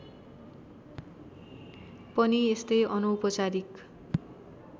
पनि यस्तै अनौपचारिक